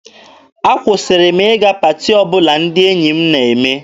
Akwụsịrị m ịga paati ọbụla ndị enyi m na-eme.